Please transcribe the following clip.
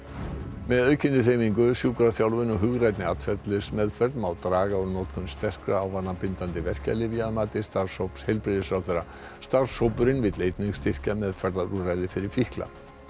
með aukinni hreyfingu sjúkraþjálfun og hugrænni atferlismeðferð má draga úr notkun sterkra og ávanabindandi verkjalyfja að mati starfshóps heilbrigðisráðherra starfshópurinn vill einnig styrkja meðferðarúrræði fyrir fíkla